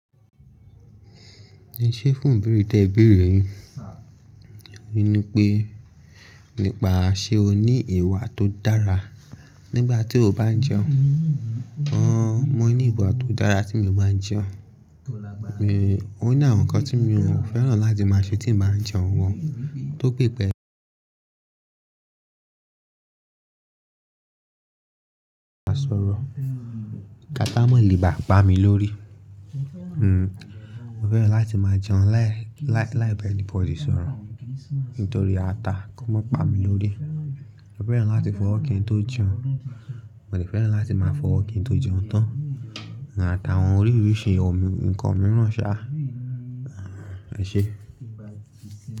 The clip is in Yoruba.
Ṣé fún ìbéèrè tí ẹ béèrè yi? Ni wi pé nípa ṣé o ní ìwà tó dára nígbà tí o bá n jẹun. Wọ́n mọ̀ ní ìwà tó dára tí mo bá jẹun. O ní àwọn nǹkan tí mi ò fẹ́ràn láti máa ṣe tí n bá jẹun wọ́n tó pípẹ́. Má sọ̀rọ̀, kí ata má le bà pa mi lórí. Mo fẹ́ràn láti máa jẹun láì ba anybody sọ̀rọ̀ nítorí ata kó má pa mi lórí. Mo fẹ́ràn láti fọwọ́ kin tó jẹun, mo sì fẹ́ràn láti máa fọwọ́ kin tó jẹun tán àti àwọn oríírísìí nǹkan mìíràn ṣá. Ẹ ṣé.